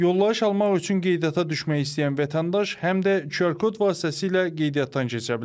Yollayış almaq üçün qeydiyyata düşmək istəyən vətəndaş həm də QR kod vasitəsilə qeydiyyatdan keçə bilər.